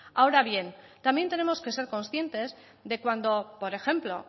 ahora bien también tenemos que ser conscientes de cuando por ejemplo